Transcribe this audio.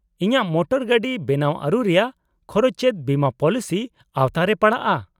-ᱤᱧᱟᱹᱜ ᱢᱚᱴᱚᱨᱜᱟᱹᱰᱤ ᱵᱮᱱᱟᱣᱟᱹᱨᱩ ᱨᱮᱭᱟᱜ ᱠᱷᱚᱨᱚᱪ ᱪᱮᱫ ᱵᱤᱢᱟᱹ ᱯᱚᱞᱤᱥᱤ ᱟᱶᱛᱟ ᱨᱮ ᱯᱟᱲᱟᱜᱼᱟ ?